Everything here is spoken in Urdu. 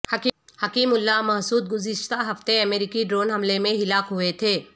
حکیم اللہ محسود گذشتہ ہفتے امریکی ڈرون حملے میں ہلاک ہوئے تھے